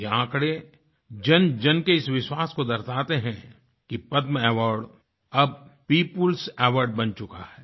यह आँकड़े जनजन के इस विश्वास को दर्शाते हैं कि पद्मअवार्ड अब peopleएस Awardबन चुका है